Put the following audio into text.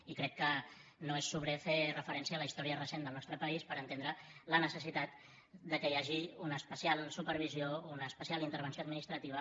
i crec que no és sobrer fer referència a la història recent del nostre país per entendre la necessitat que hi hagi una especial supervisió una especial intervenció administrativa